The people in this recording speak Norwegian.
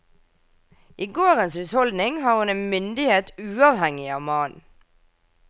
I gårdens husholdning har hun en myndighet uavhengig av mannen.